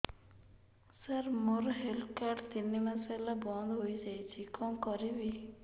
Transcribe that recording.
ସାର ମୋର health card ତିନି ମାସ ହେଲା ବନ୍ଦ ହେଇଯାଇଛି କଣ କରିବି